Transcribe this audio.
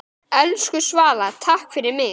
Elsku Svala, takk fyrir mig.